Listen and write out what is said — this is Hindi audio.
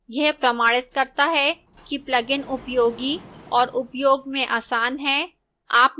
यह प्रमाणित करता है कि plugin उपयोगी और उपयोग में आसान है